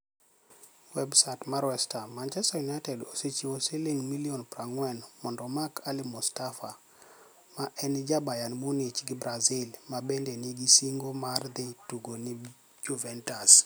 (WebSaait mar West Ham) Manichester Uniited osechiwo silinig ' milioni 40 monido omak Ali Mustapha, ma eni ja Bayerni Muniich gi Brazil, ma benide niie sinigo mar dhi tugo ni e Juvenitus.